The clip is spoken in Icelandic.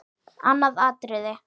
Annað atriði.